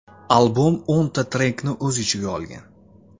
Albom o‘nta trekni o‘z ichiga olgan.